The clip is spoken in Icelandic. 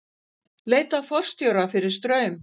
Leita að forstjóra fyrir Straum